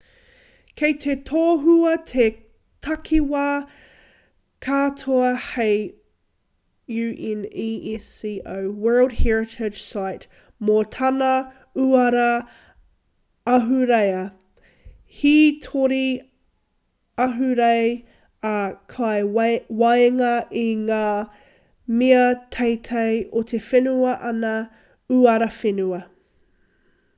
kei te tohua te takiwā katoa hei unesco world heritage site mō tana uara ahurea hītori ahurei ā kei waenga i ngā mea teitei o te whenua ana uara whenua